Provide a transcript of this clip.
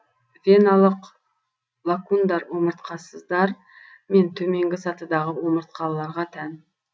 веналық лакундар омыртқасыздар мен төменгі сатыдағы омыртқалыларға тән